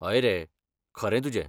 हय रे, खरें तुजें.